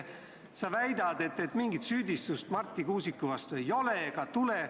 Sa väidad, et mingit süüdistust Marti Kuusiku vastu ei ole ega tule.